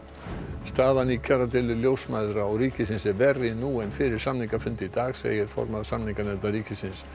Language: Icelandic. staðan í kjaradeilu ljósmæðra og ríkisins er verri nú en fyrir samningafund í dag segir formaður samninganefndar ríkisins